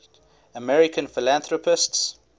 american philanthropists